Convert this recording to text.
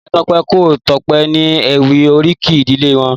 Ìyá Tope n kò Tope ni éwì óríkì ìdílé wòn